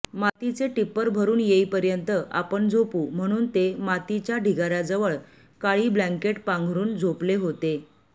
मातीचे टिप्पर भरून येईपर्यंत आपण झोपू म्हणून ते मातीच्या ढिगार्याजवळ काळी ब्लँकेट पांघरुण झोपले होते